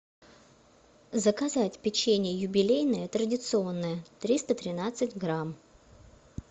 заказать печенье юбилейное традиционное триста тринадцать грамм